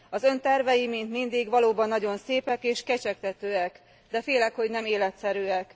Az Ön tervei, mint mindig, valóban nagyon szépek és kecsegtetőek, de félek, hogy nem életszerűek.